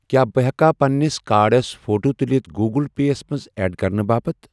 کیٛاہ بہٕٕ ہٮ۪کا پننِس کارڑس فوٹو تُلِتھ گوٗگٕل پے یَس منٛز ایڈ کرنہٕ باپتھ؟